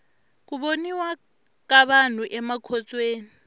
ku boniwa ka vanhu amakhotsweni